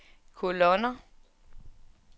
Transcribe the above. kolonner